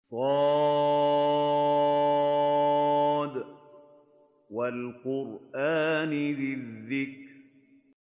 ص ۚ وَالْقُرْآنِ ذِي الذِّكْرِ